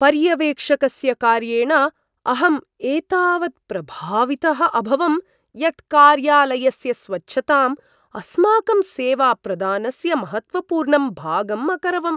पर्यवेक्षकस्य कार्येण अहम् एतावत् प्रभावितः अभवं यत् कार्यालयस्य स्वच्छताम् अस्माकं सेवाप्रदानस्य महत्त्वपूर्णं भागम् अकरवम्।